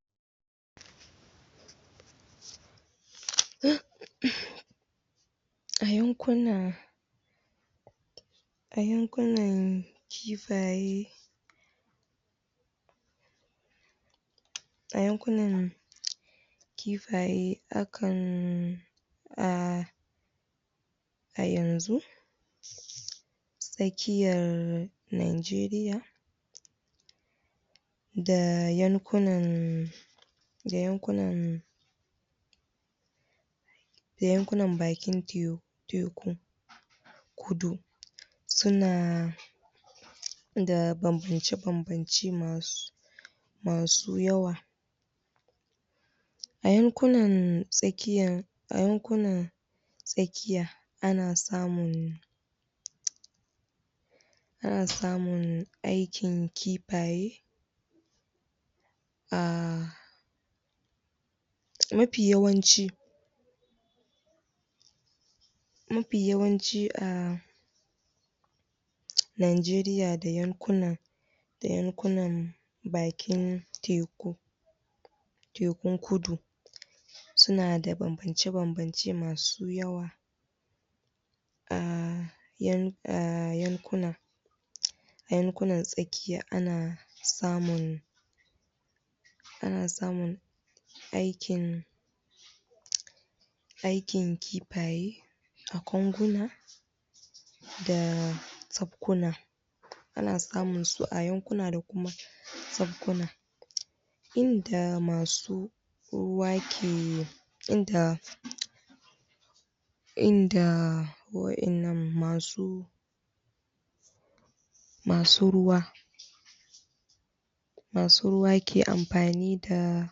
? a yankuna a yankunan kifaye a yankunan kifaye akan ah ayanzu tsakkiyar nageriya da yankunan da yakunan da yankunan bakin teku kudu suna da banbance bambance masu masu yawa a yankunan tsakiya tsakiya ana samun ana samun aikin kifaye ah mafi yawanci mafi yawanci ah najeriya da yankunan da yankunan bakin teku tekun kudu suna da bambance bambance masu yawa a yankunan a yankunan tsakiya ana samun ana samun aikin aikin kifaye a konguna da sakkuna ana samunsu a yankuna da kuma sakkuna inda masu ruwa ke inda inda masu wadannan masu masu ruwa masu ruwa ke amfani da